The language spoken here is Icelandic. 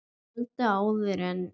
Kvöldið áður en